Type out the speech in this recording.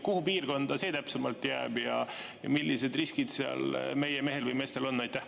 Kuhu piirkonda see täpsemalt jääb ja millised riskid seal meie mehel või meestel on?